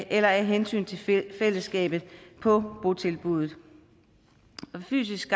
eller af hensyn til fællesskabet på botilbuddet fysisk